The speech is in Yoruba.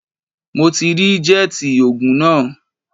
Mo ti rí jẹ́ẹ̀tì ogun náà